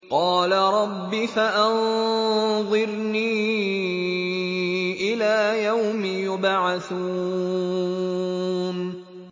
قَالَ رَبِّ فَأَنظِرْنِي إِلَىٰ يَوْمِ يُبْعَثُونَ